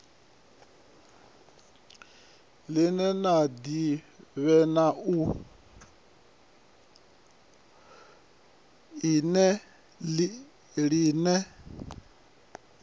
line la divhea na u